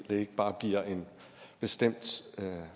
det ikke bare bliver en bestemt